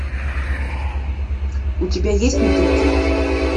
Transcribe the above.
у тебя есть мотыльки